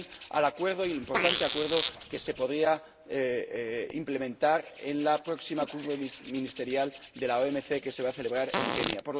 al importante acuerdo que se podría implementar en la próxima Conferencia Ministerial de la OMC que se va a celebrar en Kenia.